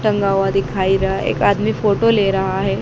टंगा हुआ दिखाई रहा एक आदमी फोटो ले रहा है।